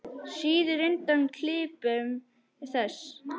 Svíður undan klipum þess.